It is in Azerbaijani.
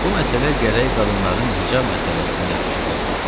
Bu məsələ gərək qadınların hicab məsələsinə yapışıqlı ola.